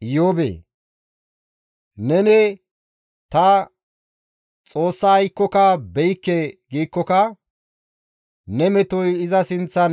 Iyoobee! Neni ta Xoossa aykkoka be7ikke giikkoka, ne metoy iza sinththan